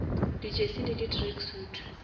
di jersey le di tracksuit